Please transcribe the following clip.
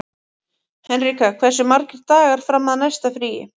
Henrika, hversu margir dagar fram að næsta fríi?